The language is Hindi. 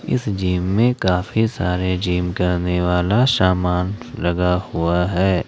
इस जिम में काफी सारे जिम करने वाला समान लगा हुआ है।